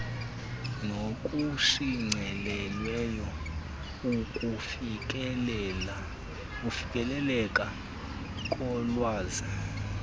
nokushicilelweyo ukufikeleleka kolwazi